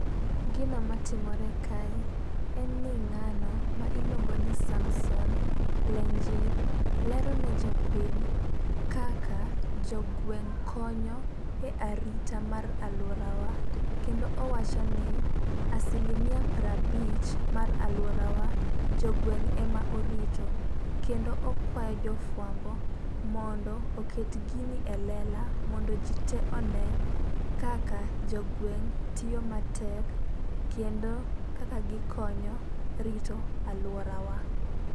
Gino matimore kae en ni ng'ano ma iluongo ni Samson Lenjit lero ne jopiny kaka jogweng' konyo e arita mar aluorawa kendo owacho ni asilimia prabich mar aluorawa jogweng' ema orito. Kendo okwa jofwambo mondo oket gini e lela mondo jii te onee kaka jogweng' tiyo matek kendo kaka gikonyo rito aluorawa.